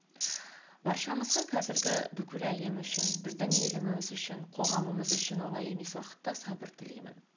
баршамызға қазіргі бүкіл әлем үшін біздің еліміз үшін қоғамымыз үшін оңай емес уақытта сабыр тілеймін